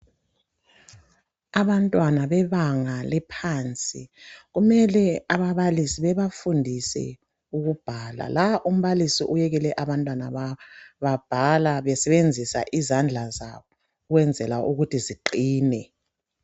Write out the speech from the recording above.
abantwana bebanga eliphansi kumele ababalisi babafundise ukubhala la umbalisi uyekele abantwana babhala besebenzisa izandla zabo ukwenzela ukuthi ziqine